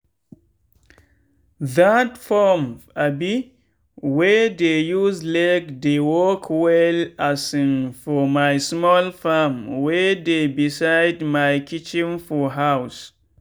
that pump um wey dey use leg dey work well um for my small farm wey dey beside my kitchen for house.